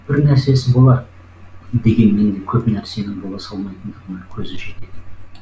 бірнәрсесі болар дегенмен де көп нәрсенің бола салмайтындығына көзі жетеді